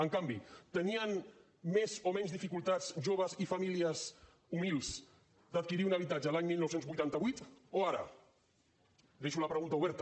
en canvi tenien més o menys dificultats joves i famílies humils d’adquirir un habitatge l’any dinou vuitanta vuit o ara deixo la pregunta oberta